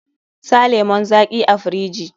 Sa lemun zaƙin a firiji!